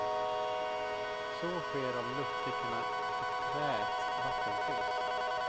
Så sker om luftfickorna i träet vattenfylls.